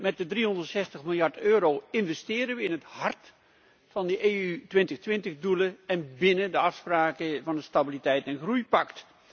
Met de 360 miljard euro investeren we in het hart van de EU 2020 doelen en binnen de afspraken van het stabiliteits en groeipact.